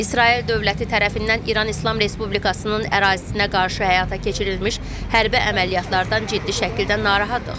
İsrail dövləti tərəfindən İran İslam Respublikasının ərazisinə qarşı həyata keçirilmiş hərbi əməliyyatlardan ciddi şəkildə narahattıq.